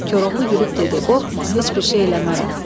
Koroğlu gülüb dedi: "Qorxma, heç bir şey eləmərəm."